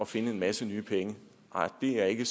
finde en masse nye penge nej det er ikke